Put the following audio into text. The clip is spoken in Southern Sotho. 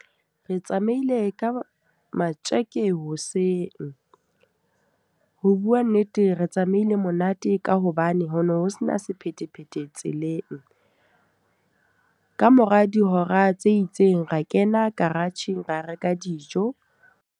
Re tsamaile ka matjeke hoseng. Ho bua nnete, re tsamaile monate ka hobane ho no ho sena sephethephethe tseleng. Ka mora dihora tse itseng, ra kena garage-ng ra reka dijo.